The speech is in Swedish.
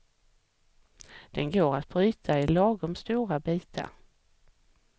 Den går att bryta i lagom stora bitar.